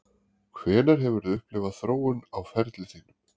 Hvenær hefurðu upplifað þróun á ferli þínum?